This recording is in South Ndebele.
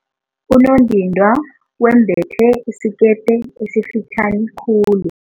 Unondindwa wembethe isikete esifitjhani khulu.